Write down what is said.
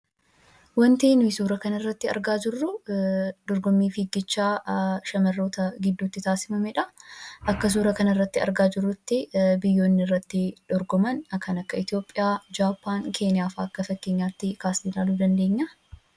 Wanti nuyi suuraa kanarratti argaa jirru dorgommii fiigichaa shamarroota gidduutti taasifamedha. Akka suuraa kanarratti argaa jirrutti kan irratti dorgoman kan akka Itoophiyaa, Jaappaan , Keeniyaa fa'aa akka fakkeenyaatti kaasnee ilaaluu dandeenya.